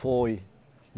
Foi.